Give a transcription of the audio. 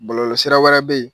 Bɔlɔlɔsira wɛrɛ be ye